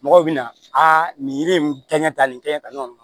Mɔgɔw bɛna nin yiri in kɛɲɛ ta nin kɛ yɔrɔ in na